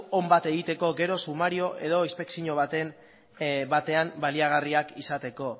on bat egiteko gero sumario edo inspekzio batean baliagarriak izateko